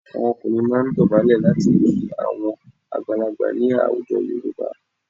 Àwọn ọkùnrin máa ń dọ̀bálẹ̀ láti kí àwọn àgbàlagbà ni láwùjọ Yorùbá.